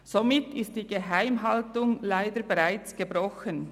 Somit ist die Geheimhaltung leider bereits gebrochen.